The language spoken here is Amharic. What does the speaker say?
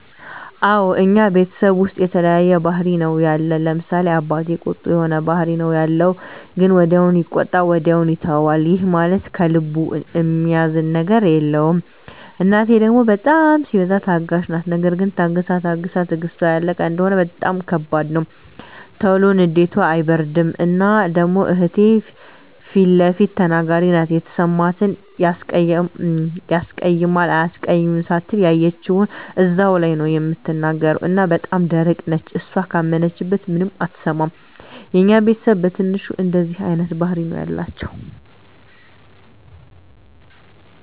አወ እኛ ቤተሰብ ዉስጥ የተለያየ ባህሪ ነዉ ያለን፤ ለምሳሌ፦ አባቴ ቁጡ የሆነ ባህሪ ነዉ ያለዉ ግን ወዲያዉ ይቆጣል ወዲያዉ ይተወዋል ይህም ማለት ከልቡ እሚይዘዉ ነገር የለም፣ እናቴ ደሞ በጣም ሲበዛ ታጋሽ ናት ነገር ግን ታግሳ ታግሳ ትግስቷ ያለቀ እንደሆነ በጣም ከባድ ነዉ። ቶሎ ንዴቷ አይበርድም እና ደሞ እህቴ ፊለፊት ተናጋሪ ናት የተሰማትን ያስቀይማል አያስቀይምም ሳትል ያየችዉን እዛዉ ላይ ነዉ እምትናገር እና በጣም ደረቅ ነች እሷ ካመነችበት ማንንም አትሰማም። የኛ ቤተስብ በትንሹ እንደዚህ አይነት ባህሪ ነዉ ያላቸዉ።